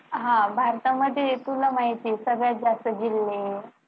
हा भारतामध्ये तुला माहिती आहे सगळ्यात जास्त जिल्हे